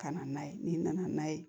Ka na n'a ye n'i nana n'a ye